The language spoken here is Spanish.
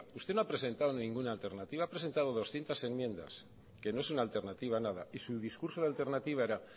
usted no ha presentado ninguna alternativa ha presentado doscientos enmiendas que no es una alternativa nada y su discurso de alternativa era